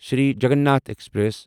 Sri Jagannath express